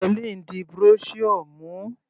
Hellen di brochure mú.